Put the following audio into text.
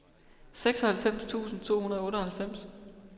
seksoghalvfems tusind to hundrede og otteoghalvfems